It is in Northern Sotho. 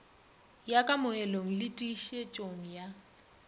ya kamogelong le tiišetšong ya